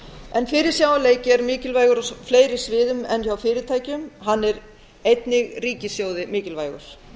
tölvuleikjaframleiðslu fyrirsjáanleiki er mikilvægur á fleiri sviðum en hjá fyrirtækjum hann er einnig ríkissjóði mikilvægur